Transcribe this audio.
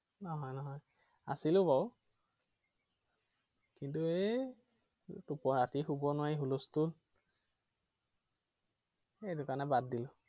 নহয় নহয়। আছিলো বাৰু কিন্তু এৰ ৰাতি শুব নোৱাৰি হুলস্থল সেইটো কাৰণে বাদ দিলো।